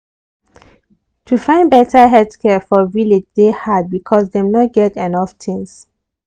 to find better health care for village dey hard because dem no get enough things.